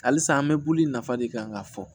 Halisa an bɛ bulu nafa de kan ka fɔ